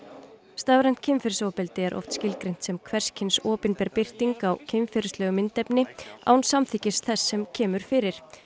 stafrænt kynferðisofbeldi er oft skilgreint sem hvers kyns opinber birting á kynferðislegu myndefni án samþykkis þess sem kemur fyrir